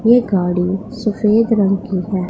ये गाड़ी सफेद रंग की है।